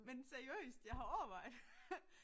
Men seriøst jeg har overvejet